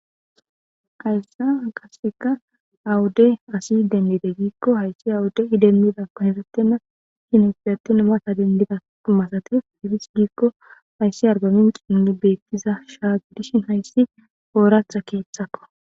Hayssa qasseka awude asi dendide giikko hayssi awude idemmida pahesettenna hinefidatin mata dendida masatis hefis giikko hayssi arbamin qinni beettiza shaagdishin hayssi ooratha keeththakko.